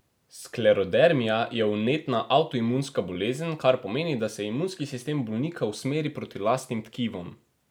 Sklerodermija je vnetna, avtoimunska bolezen, kar pomeni, da se imunski sistem bolnika usmeri proti lastnim tkivom.